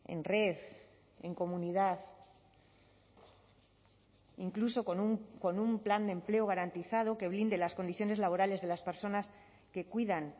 en red en comunidad incluso con un plan de empleo garantizado que blinde las condiciones laborales de las personas que cuidan